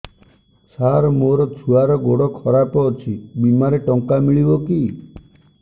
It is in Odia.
ସାର ମୋର ଛୁଆର ଗୋଡ ଖରାପ ଅଛି ବିମାରେ ଟଙ୍କା ମିଳିବ କି